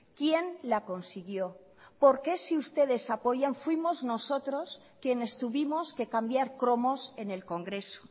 quién la consiguió por qué si ustedes apoyan fuimos nosotros quienes tuvimos que cambiar cromos en el congreso